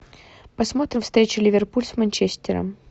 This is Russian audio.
посмотрим встречу ливерпуль с манчестером